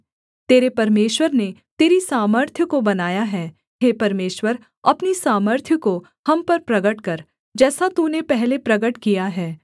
तेरे परमेश्वर ने तेरी सामर्थ्य को बनाया है हे परमेश्वर अपनी सामर्थ्य को हम पर प्रगट कर जैसा तूने पहले प्रगट किया है